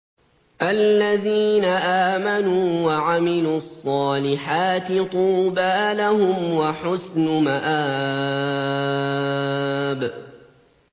الَّذِينَ آمَنُوا وَعَمِلُوا الصَّالِحَاتِ طُوبَىٰ لَهُمْ وَحُسْنُ مَآبٍ